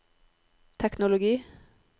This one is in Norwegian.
teknologi